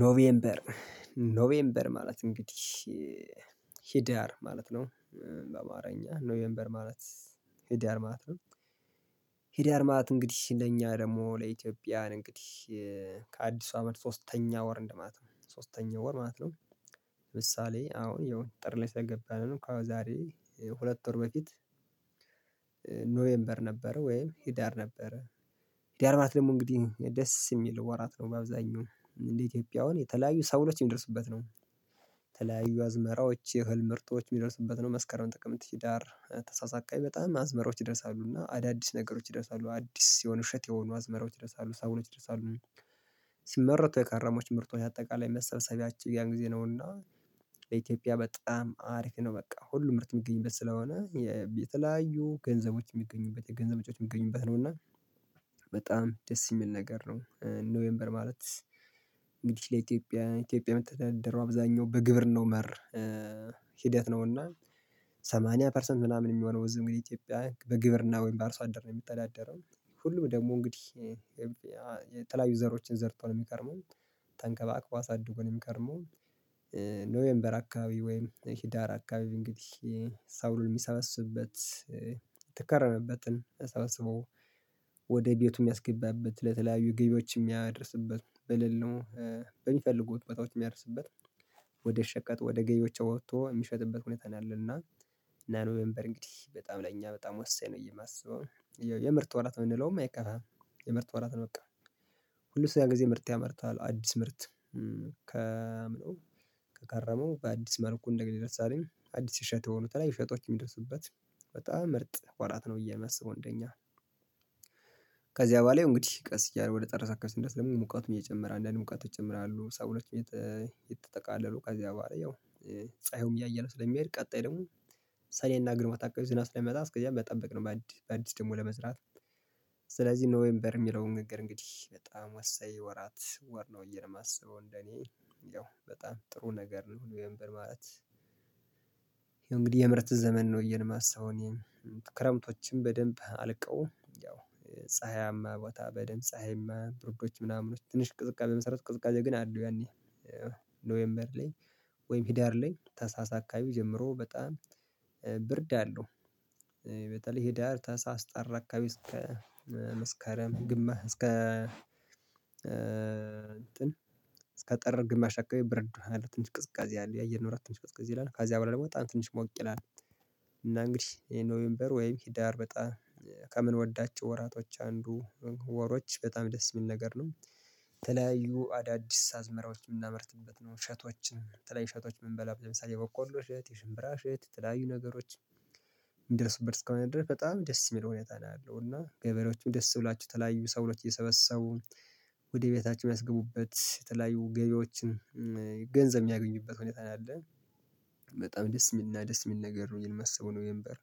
ኖቬምበር ኖቬምበር ማለት እንግዲህ ሂዳር ማለት ነው። በአማርኛ ኖዌምበር ማለት ሂድያር ነው። ሂድ ያርማት እንግዲህ ለኛ ደግሞ ለኢትዮጵያ እንግዲህ ከአዲሱ አመት ሶስተኛ ወር እንደማለት ነው ሶስተኛ ወር ማለት ነው። ለምሳሌ አሁን የውጥር ላይ ስለገባንን እኮ ዛሬ ሁለት ወር በፊት ኖዌምበር ነበረ ወይም ሂዳር ነበረ። ሂዳር ናት ደግሞ እንግዲህ ደስ የሚል ወራት ነው በአብዛኛው እንደ ኢትዮጵያውያን የተለያዩ ሰበሎች የሚደርሱበት ነው። ተለያዩ አዝመራዎች የህልም ምርጦች የሚደርሱበት ነው። መስከረም ጥቅም ህዳር ታህሳስ በጣም አዝመሮች ይደርሳሉ እና አዳዲስ ነገሮች ይደርሳሉ አዲስ የሆኑ ውሸት የሆኑ አዝመራዎች ደርሳሉ ሰውኖች ደርሳሉ። ሲመረቱ የከረሞች ምርቶች አጠቃላይ መሰብሰቢያችን ያን ጊዜ ነውና። ለኢትዮጵያ በጣም አሪፍ ነው በቃ ሁሉም ምርት የሚገኝ በት ስለሆነ የተለያዩ ገንዘቦች የሚገኙበት የገንዘቦች የሚገኙበት ነው እና በጣም ደስ የሚል ነገር ነው። ኖዌምበር ማለት እንግዲህ ለኢትዮጵያ ኢትዮጵያ መተዳደሩ አብዛኛው በግብር ነው። መር ሂደት ነውና ሰማኒያ ፐርሰንት ምናምን የሚሆነው እዚህ ግን ኢትዮጵያ በግብርና ወይም በአርሶ አደር ነው የሚተዳደረው። ሁሉም ደግሞ እንግዲህ የተላያዩ ዘሮችን ዘርቶ ነው የሚቀርመው ተንከባክባ አሳድጎን የሚቀርመው። የሚገርመው ኖዌምበር አካባቢ ወይም ሂዳር አካባቢ እንግዲህ ሰብሉን የሚሰበስበት የተከረመበትን ለሰበሰበው ወደ ቤቱ የሚያስገባበት ለተለያዩ ግቢዎች የሚያደርስበት በልል ነው። የሚፈልጉት ቦታዎች የሚያደርስበት ወደ ሸቀጥ ወደ ገዮቿ ወጥቶ የሚሸጥበት ሁኔታ ነው። ያለና ናኖ ሜምበር እንግዲህ በጣም ለእኛ በጣም ወሳኝ ነው። የማስበው የምርጥ ወራት የምንለውም አይቀርም የምርጥ ወራት ነው በቃ። ሁለት ሺህ አንድ ጊዜ ምርጥ ያመርታል አዲስ ምርት ከምነው ከከረመው በአዲስ መልኩ እንደገሌ ደርሳለኝ አዲስ ሸተው ሆኖ ተለይ ፌጦች የሚደርሱበት በጣም ምርጥ ወራት ነው። እየመሰለ ወንድኛ ከዚያ በኋላ እንግዲህ ቀስ እያለ ወደ ጠረሰ አካባቢ ድረስ ለምን ሙቃት እየጨመረ አንዳንድ ሙቃት እጨምራለሁ ሰው ለች ቤት የተጠቃለለው ከዚያ በኋላ ያው ፀሀዩም እያየነው ስለሚሄድ ቀጣይ ደግሞ ሰኔና ግርማ ታውቀው ዝና ስለሚመጣ እስከዚያም በጠበቅ ነው። በአዲስ ደግሞ ለመስራት ስለዚህ ኖዌምበር የሚለውን ንገር እንግዲህ በጣም ወሳኝ ወራት ወር ነው። እየለም አስበው እንደኔ ያው በጣም ጥሩ ነገር ነው የምር ማለት ይሄን እንግዲህ የምርት ዘመን ነው የማስበው። ክረምቶችን በደንብ አልቀውም ያው ፀሀያማ ቦታ በደንብ ፀሀይማ ብርዶች ምናምኖች ትንሽ ቅዝቃዜ መሰረት ቅዝቃዜ ግን አለው ያኔ። ኖዌምበር ላይ ወይም ሂደር ላይ ታህሳስ አካባቢ ጀምሮ በጣም ብርድ አለው። በተለይ ሂዳር ታህሳህ ጥር አካባቢ እስከ መስከረም ግማሽ እስከ እንጥን ጠር ግማሽ አካባቢ ብርድ ቅዝቃዜ አለው ትንሽ ቅዝቃዜ አለው ያየነው አራት ትንሽ ቅዝቃዜ ይላል ከዚያ በኋላ ደግሞ በጣም ትንሽ ሞቅ ይላል። እና እንግዲህ ኖሜምበር ወይም ሂዳር በጣም ከምንወዳቸው ወራቶች አንዱ ወሮች በጣም ደስ የሚል ነገር ነው። ተለያዩ አዳዲስ አዝመራዎች የምናመርትበት ነው እሸቶችን የተለያዩ እሸቶች የምንበላው ለምሳሌ የቦቆሎ የት የሽምብራሽ የት ተለያዩ ነገሮች የሚደርስበት እስከሆነ ድረስ በጣም ደስ የሚለው ሁኔታ ነው ያለው። እና ገበሬዎችም ደስ ብላችሁ ተለያዩ ሰበሎች አየሰበሰቡ እየሰበሰቡ ወደ ቤታቸው የሚያስገቡበት የተለያዩ ገበያዎችን ገንዘብ የሚያገኙበት ሁኔታ አለን። በጣም ደስ የሚልና ደስ የሚል ነገር ነው የሚል መሰብህ ነው የምበር።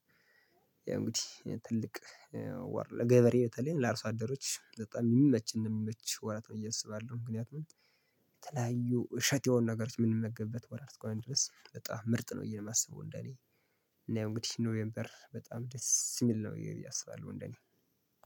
ያ እንግዲህ ትልቅ ገበሬ ለገበሬ በተለይ ለአርሶ አደሮች በጣም የሚመች ነው የሚመች ወራት እየተሰበ አይደለም። ምክንያቱም የተለያዩ እሸት የሆኑ ነገሮች የምንመግበት ወራት እኮ ቆይተህ በጣም ምርጥ ነው እየል የማስበው እንደኔ እና እንግዲህ ኖሜምበር በጣም ደስ የሚል ነው። ይሄ ብዬ አስባለሁ እንደኔ